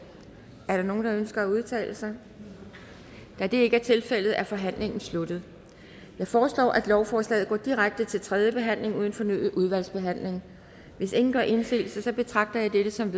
er der nogen der ønsker at udtale sig da det ikke er tilfældet er forhandlingen sluttet jeg foreslår at lovforslaget går direkte til tredje behandling uden fornyet udvalgsbehandling hvis ingen gør indsigelse betragter jeg dette som